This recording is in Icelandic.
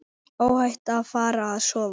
Óhætt að fara að sofa.